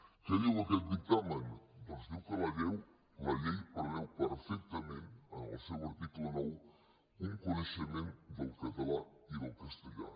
què diu aquest dictamen doncs diu que la llei preveu perfec·tament en el seu article nou un coneixement del català i del castellà